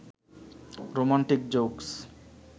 romantic jokes